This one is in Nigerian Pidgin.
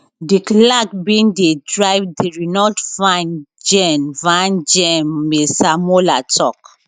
di clerk bin dey drive di renault van gen van gen masemola tok